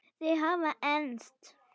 Þau hafa enst.